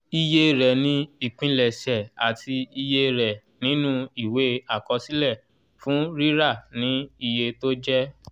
iye rẹ̀ ni ìpilẹ̀ṣẹ̀ àti iye rẹ̀ nínú ìwé àkọsílẹ̀ fún rírà ni iye tó jẹ́